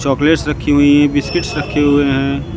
Chocolates रखी हुई हैं बिस्किट्स रखे हुए हैं।